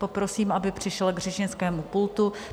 Poprosím, aby přišel k řečnickému pultu.